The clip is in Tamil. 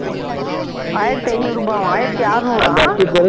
ஆயிரத்தி ஐநூறு நூபாவாம் ஆயிரத்தி ஆறுநூறாம்